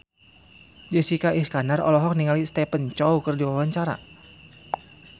Jessica Iskandar olohok ningali Stephen Chow keur diwawancara